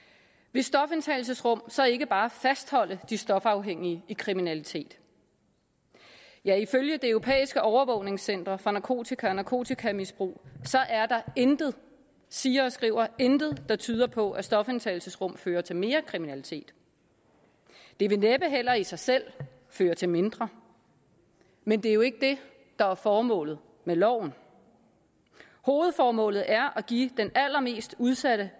vil stofindtagelsesrum så ikke bare fastholde de stofafhængige i kriminalitet ja ifølge det europæiske overvågningscenter for narkotika og narkotikamisbrug er der intet siger og skriver intet der tyder på at stofindtagelsesrum fører til mere kriminalitet det vil næppe heller i sig selv føre til mindre men det er jo ikke det der er formålet med loven hovedformålet er at give den allermest udsatte